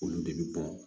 Olu de bi bɔ